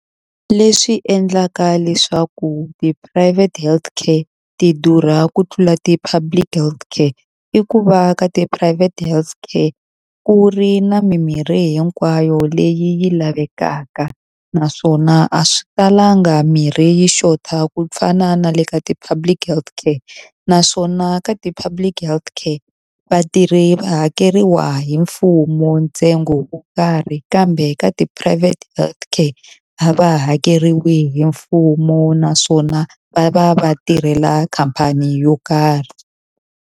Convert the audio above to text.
Leswi endlaka leswaku ti-private healthcare ti durha ku tlula ti-public healthcare, i ku va ka ti-private healthcare ku ri na mimirhi hinkwayo leyi lavekaka naswona a swi talanga mirhi yi xota ku fana na le ka ti-public healthcare. Naswona ka ti_public healthcare vatirhi va hakeriwa hi mfumo ntsengo wo karhi, kambe ka ti-private healthcare a va hakeriwi hi mfumo naswona va va va tirhela khamphani yo karhi.